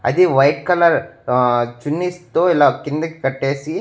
అది white colour ఆ చున్నీస్ తో ఇలా కిందకి కట్టేసి--